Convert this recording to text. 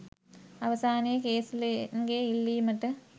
අවසානයේ කේසි ලේන්ගේ ඉල්ලීමට